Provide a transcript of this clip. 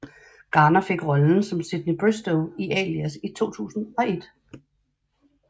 Garner fik rollen som Sidney Bristow i Alias i 2001